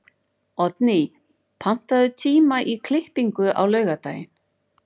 Oddný, pantaðu tíma í klippingu á laugardaginn.